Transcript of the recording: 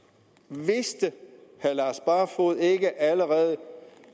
vidste herre lars barfoed ikke allerede